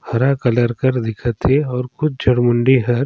हरा कलर कर दिखत है और कुछ जरूनडी हर--